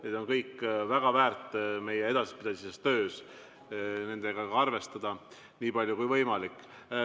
Need on kõik väga väärt meie edaspidises töös, et nendega arvestada nii palju kui võimalik.